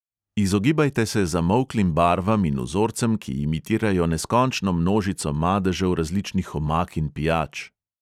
Izogibajte se zamolklim barvam in vzorcem, ki imitirajo neskončno množico madežev različnih omak in pijač.